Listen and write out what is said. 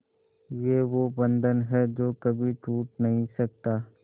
ये वो बंधन है जो कभी टूट नही सकता